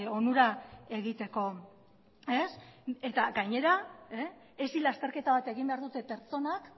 onura egiteko eta gainera hesi lasterketa bat egin behar dute pertsonak